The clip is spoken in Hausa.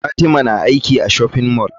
Fatima na aiki a shopping mall.